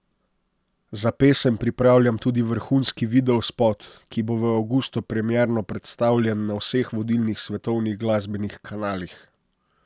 Za pesem pripravljam tudi vrhunski videospot, ki bo v avgustu premierno predstavljen na vseh vodilnih svetovnih glasbenih kanalih.